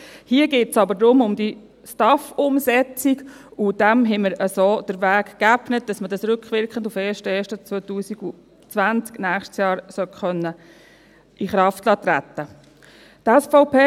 Hier geht es um die STAF-Umsetzung, und dieser haben wir so den Weg geebnet, damit man diese rückwirkend auf den 1. Januar 2020, nächstes Jahr, in Kraft treten lassen kann.